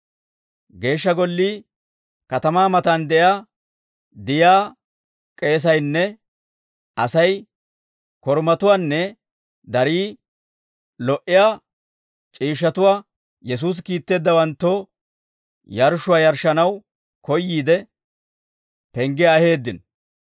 Geeshsha Gollii katamaa matan de'iyaa Diyaa k'eesaynne Asay korumatuwaanne darii lo"iyaa c'iishshatuwaa Yesuusi kiitteeddawanttoo yarshshuwaa yarshshanaw koyyiide, penggiyaa aheeddino.